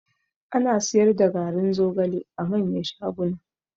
Ana siyar da garin zogale a manyan shaguna